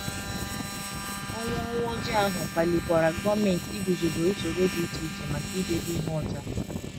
Ọnwụ Ọnwụ Ojii ahụ kpalikwara gọọmenti iguzobe ụsoro dị iche iche maka idebe ihe ọcha.